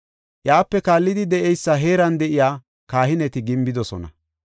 Iyape kaallidi de7eysa heeran de7iya kahineti gimbidosona.